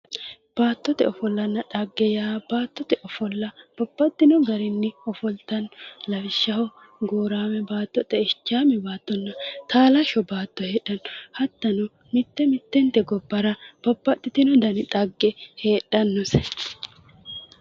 Baattote ofollanna xagge yaa baxxino garinni ofoltanno lawishshaho gooraame baatto xeichaame baattonna taalashsho baatto heedhanno hattono mitte mittente gobbara babbxitino dani xagge heedhannose.